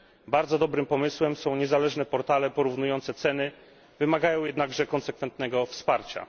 Bardzo dobrym pomysłem są niezależne portale porównujące ceny, wymagają jednakże konsekwentnego wsparcia.